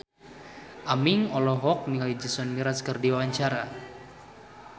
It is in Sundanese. Aming olohok ningali Jason Mraz keur diwawancara